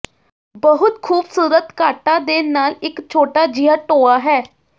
ਬਹੁਤ ਖ਼ੂਬਸੂਰਤ ਕਾਟਾਂ ਦੇ ਨਾਲ ਇੱਕ ਛੋਟਾ ਜਿਹਾ ਟੋਆ ਹੈ